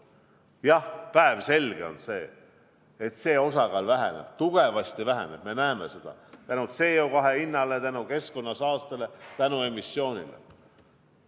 Jah, päevselge on see, et selle osakaal väheneb, tugevasti väheneb – me näeme seda – CO2 hinna tõttu, keskkonnasaaste tõttu, emissiooni tõttu.